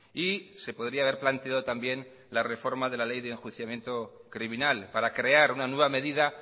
y se podría haber planteado también la reforma de la ley de enjuiciamiento criminal para crear una nueva medida